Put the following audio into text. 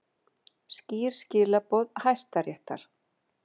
Skýr skilaboð Hæstaréttar